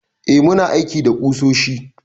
Eh, muna aiki da ƙusoshi.